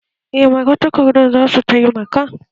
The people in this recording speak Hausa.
Eh, Magatakardan za su taimaka